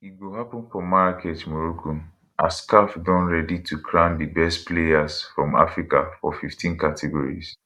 e go happun for marrakech morocco as caf don ready to crown di best players from africa for 15 categories